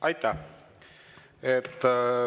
Aitäh!